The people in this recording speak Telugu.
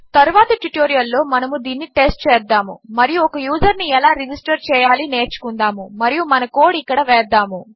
తరువాతి ట్యుటోరియల్లో మనము దీనిని టెస్ట్ చేద్దాము మరియు ఒక యూజర్ను ఎలా రెజిస్టర్ చేయాలి నేర్చుకుందాము మరియు మన కోడ్ ఇక్కడ వేద్దాము